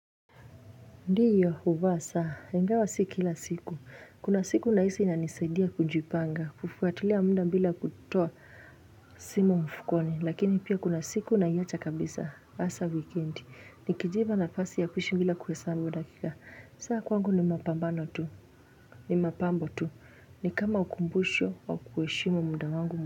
Ndiyo uvasa. Engawa siki ila siku. Kuna siku nahisi inaisaidia kujipanga. Kufuatilia munda mbila kutoa simu mfukoni. Lakini pia kuna siku na hiacha kabisa. Asa wikendi. Nikijiva na fasi ya kushu mbila kuesambu dakika. Saa kwangu ni mapambano tu. Ni mapambo tu. Ni kama ukumbusho wa kueshimu munda wangu.